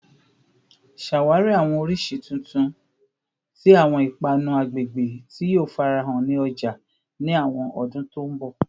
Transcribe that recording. Ṣawari awọn oriṣi titun ti awọn ipanu agbegbe ti yoo farahan ni ọja ni awọn ọdun to nbo